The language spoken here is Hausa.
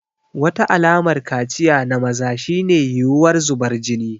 Wata alamar kaciya na maza shine yiwuwar zubar jini.